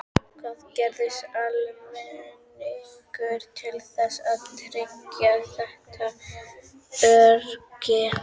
Hvað gerir almenningur til þess að tryggja þetta öryggi?